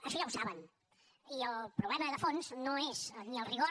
això ja ho saben i el problema de fons no és ni el rigor